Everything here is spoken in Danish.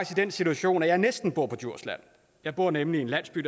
den situation at jeg næsten bor på djursland jeg bor nemlig i en landsby